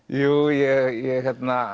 ég